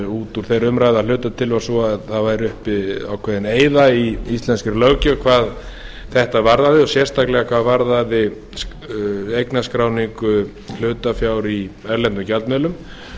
út úr þeirri umræðu að hluta til var sú að það væri uppi ákveðin eyða í íslenskri löggjöf hvað þetta varðaði og sérstaklega hvað varðaði eignarskráningu hlutafjár í erlendum gjaldmiðlum